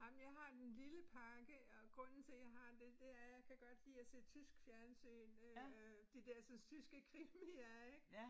Ej men jeg har den lille pakke og grunden til jeg har det det er jeg kan godt lide at se tysk fjernsyn øh øh de dersens tyske krimier ik